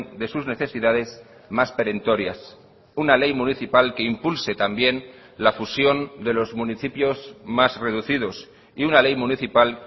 de sus necesidades más perentorias una ley municipal que impulse también la fusión de los municipios más reducidos y una ley municipal